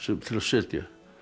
til að setja